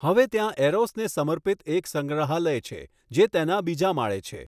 હવે ત્યાં એરોસને સમર્પિત એક સંગ્રહાલય છે જે તેના બીજા માળે છે.